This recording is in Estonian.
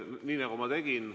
Nii nagu ma tegingi.